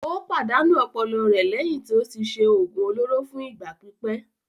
Ó pàdánù ọpọlọ rẹ̀ lẹ́yìn tí ó ti ṣe òògùn olóró fún ìgbà pípẹ́.